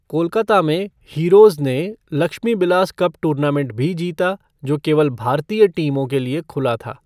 कोलकाता में, हीरोज ने Lakshmibilas cup tournament भी जीता, जो केवल भारतीय टीमों के लिए खुला था।